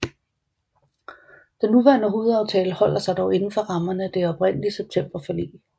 Den nuværende hovedaftale holder sig dog indenfor rammerne af det oprindelige septemberforlig